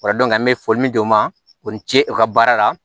O la an bɛ foli min d'u ma u ni ce u ka baara la